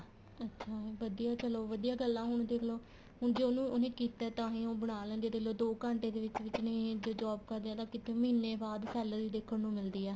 ਅੱਛਾ ਵਧੀਆ ਚਲੋਂ ਵਧੀਆ ਗੱਲ ਆ ਹੁਣ ਦੇਖਲੋ ਹੁਣ ਜ਼ੇ ਉਹਨੇ ਕੀਤਾ ਤਾਂਹੀ ਉਹ ਬਣਾ ਬਣਾ ਲੈਂਦੀ ਆ ਦੇਖਲੋ ਦੋ ਘੰਟੇ ਦੇ ਵਿੱਚ ਵਿੱਚ ਨਹੀਂ ਜ਼ੇ job ਕਰਦੇ ਹਾਂ ਕਿੱਥੇ ਮਹੀਨੇ ਬਾਅਦ salary ਦੇਖਣ ਨੂੰ ਮਿਲਦੀ ਆ ਹੈਨਾ